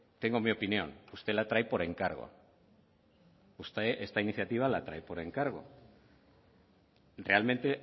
tengo mi opinión usted la trae por encargo usted esta iniciativa la trae por encargo realmente